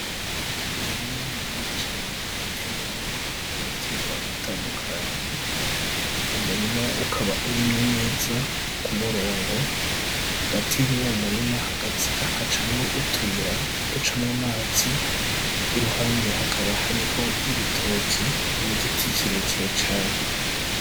Umurima munini cane uteyemwo ibitegwa bitandukanye. Umurima ukaba urimye neza k'umurongo. Hagati y'uwo murima hagacamwo utuyira ducamwo amazi, i ruhande hakaba hariho ibitoki n'igiti kirekire cane.